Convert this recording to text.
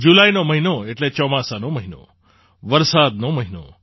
જુલાઈનો મહિનો એટલે ચોમાસાનો મહિનો વરસાદનો મહિનો